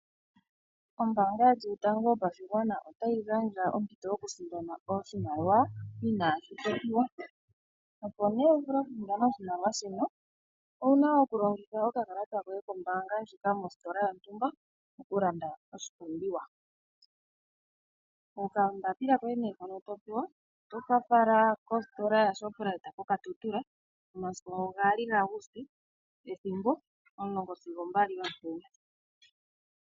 Ombanga yetu yotango yopashigwana otayi gandja ompito yoku sindana oshimaliwa inashi popiwa. Opo ne wu vule oku sindane oshimaliwa shino owuna oku longitha okakalata koye kombanga ndjika mositola yontumba oku landa oshipumbiwa. Oka mbapila koye nee hono to pewa oto ka fala kositola yoShoprite koKatutura omasiku gaali gaAuguste ethimbo omulongo sigo ombali yomutenya.